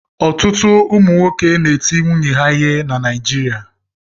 Ọtụtụ ụmụ nwoke na-eti nwunye ha ihe na Naịjirịa.